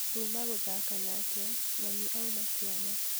Tuma gũthaka nake mami auma kĩama